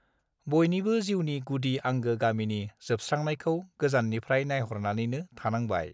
बयनिबो जीउनि गुदि आंगो गामिनि जोबस्त्रांनायखौ गोजाननिफ्राय नाइहरनानैनो थानांबाय